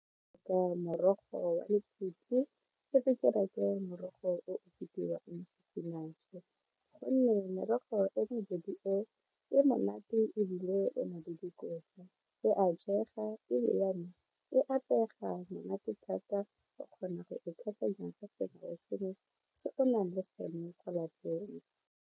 Morogo wa lephutsi morogo o bidiwang spinach gonne merogo e mebedi eo e monate ebile ena le dikotla e a jega e apega monate thata o kgona go e tlhakanya ka sengwe le sengwe se ona le sone ko lapeng.